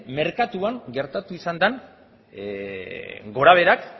merkatuan gertatu izan den gorabeherak